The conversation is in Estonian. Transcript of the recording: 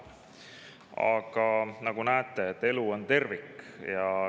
Aga nagu näete, siis elu on tervik.